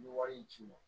N bɛ wari ci n ma